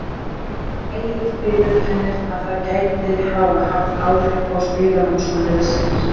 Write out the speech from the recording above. Egill viðurkennir að það gæti hafa haft áhrif á spilamennsku liðsins.